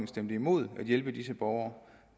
stemte imod at hjælpe disse borgere